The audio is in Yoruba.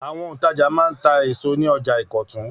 Àwọn òǹtajà máa ń ta èso ní ọjà Ìkọ̀tún.